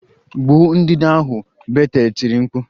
Gbuo ndanda ahụ! Betel tiri mkpu